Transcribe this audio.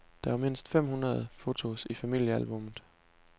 Der var mindst fem hundrede fotos i familiealbummet.